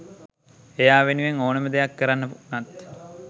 එයා වෙනුවෙන් ඕනෙම දෙයක් කරන්න වුනත්